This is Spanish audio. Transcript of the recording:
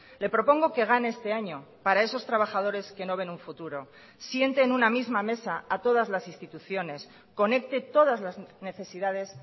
le propongo que gane este año para esos trabajadores que no ven un futuro siente en una misma mesa a todas las instituciones conecte todas las necesidades